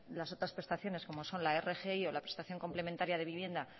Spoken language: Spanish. las otras prestaciones como son la rgi o la prestación complementaria de vivienda